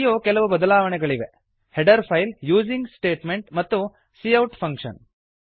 ಇಲ್ಲಿಯೂ ಕೆಲವು ಬದಲಾವಣೆಗಳಿವೆ ಹೆಡರ್ ಫೈಲ್ ಯೂಸಿಂಗ್ ಸ್ಟೇಟ್ಮೆಂಟ್ ಮತ್ತು ಸಿಔಟ್ ಫಂಕ್ಷನ್